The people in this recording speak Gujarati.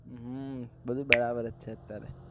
હમ બધું બરાબર જ છે અત્યારે